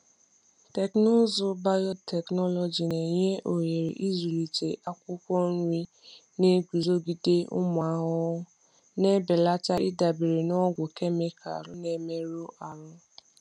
Teknụzụ biotechnology na-enye ohere ịzụlite akwụkwọ nri na-eguzogide ụmụ ahụhụ, na-ebelata ịdabere na ọgwụ kemịkalụ na-emerụ ahụ.